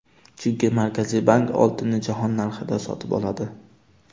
Chunki Markaziy bank oltinni jahon narxida sotib oladi.